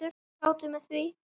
Við sátum með því.